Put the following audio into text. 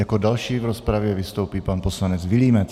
Jako další v rozpravě vystoupí pan poslanec Vilímec.